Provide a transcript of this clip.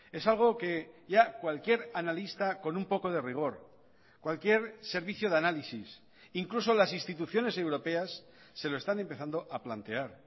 es algo que ya cualquier analista con un poco de rigor cualquier servicio de análisis incluso las instituciones europeas se lo están empezando a plantear